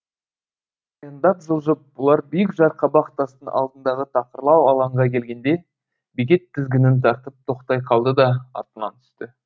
аяңдап жылжып бұлар биік жарқабақ тастың алдындағы тақырлау алаңға келгенде бекет тізгінін тартып тоқтай қалды да атынан түсті